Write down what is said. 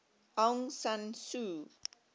aung san suu